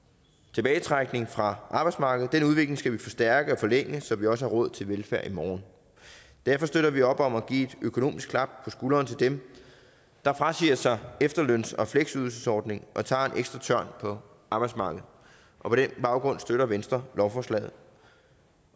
tilbagetrækning fra arbejdsmarkedet den udvikling skal vi forstærke og forlænge så vi også har råd til velfærd i morgen derfor støtter vi op om at give et økonomisk klap på skulderen til dem der frasiger sig efterløns og fleksydelsesordningen og tager en ekstra tørn på arbejdsmarkedet på den baggrund støtter venstre lovforslaget